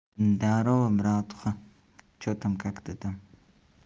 здорово братуха что там как ты там